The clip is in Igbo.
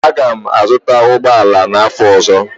Aga m azụta ụgbọ ala n'afọ ọzọ